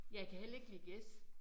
Jeg kan heller ikke lide gæs